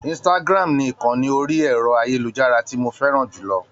Instagram ni ìkànni orí ẹ̀rọ-ayélujára tí mo fẹ́ràn jù lọ.